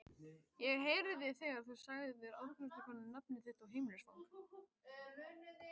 Ég heyrði þegar þú sagðir afgreiðslukonunni nafnið þitt og heimilisfang.